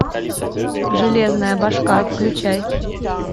железная башка включай